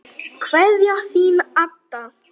Kveðja, Þín Adda.